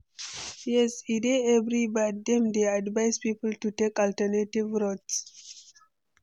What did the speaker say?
Yes, e dey very bad, dem dey advise people to take alternative routes.